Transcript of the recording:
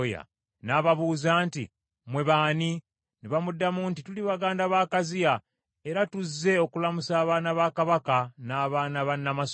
n’ababuuza nti, “Mmwe b’ani?” Ne bamuddamu nti, “Tuli baganda ba Akaziya, era tuzze okulamusa abaana ba kabaka n’abaana ba nnamasole.”